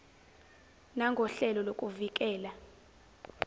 nangohlelo lokuvi kela